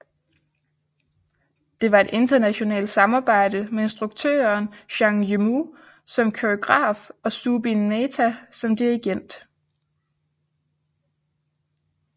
Det var et internationalt samarbejde med instruktøren Zhang Yimou som koreograf og Zubin Mehta som dirigent